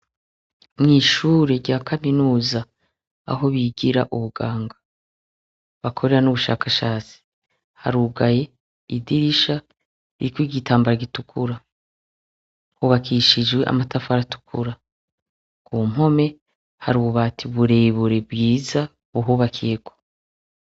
Mw'ishuri rya kaminuza, aho bigira ubuganga, bakorera n'ubushakashatsi, harugaye, idirisha ririko igitambara gitukura. Hubakishijwe amatafari atukura. Mu mpome, hari ububati burebure bwiza, buhubakiyeko.